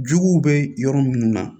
Juguw bɛ yɔrɔ minnu na